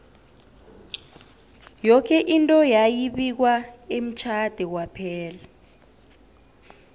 yoke into yayi bikwa emtjhade kwaphela